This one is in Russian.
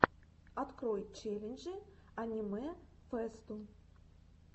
открой челленджи аниме фэсту